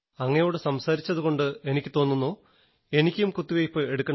അങ്ങയോടു സംസാരിച്ചതുകൊണ്ട് എനിക്കു തോന്നുന്നു എനിക്കും കുത്തിവെയ്പ് എടുക്കണമെന്ന്